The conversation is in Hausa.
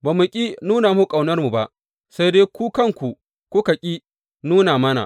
Ba mu ƙi nuna muku ƙaunarmu ba, sai dai ku kuka ƙi nuna mana.